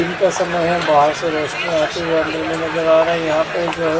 दिन का समय है बाहर से रोशनी आते हुए अंदर में नजर आ रहा है यहां पे जो है।